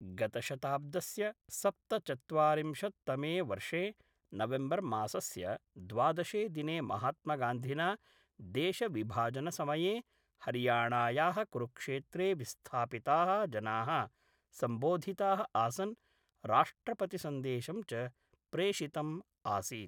गतशताब्दस्य सप्तचत्वारिंशत्तमे वर्षे नवेम्बर्मासस्य द्वादशे दिने महात्मगान्धिना देशविभाजनसमये हरियाणाया: कुरुक्षेत्रे विस्थापिता: जना: सम्बोधिताः आसन् राष्ट्रप्रतिसन्देशं च प्रेषितम् आसीत्